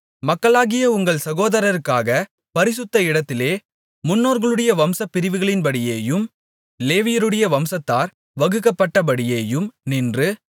மக்களாகிய உங்கள் சகோதரருக்காகப் பரிசுத்த இடத்திலே முன்னோர்களுடைய வம்சப் பிரிவுகளின்படியேயும் லேவியருடைய வம்சத்தார் வகுக்கப்பட்டபடியேயும் நின்று